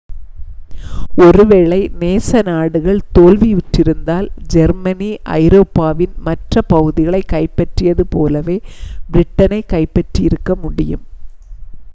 ஓரு வேளை நேச நாடுகள் தோல்வியுற்றிருந்தால் ஜெர்மனி ஐரோப்பாவின் மற்ற பகுதிகளைக் கைப்பற்றியது போலவே பிரிட்டனைக் கைப்பற்றியிருக்க முடியும்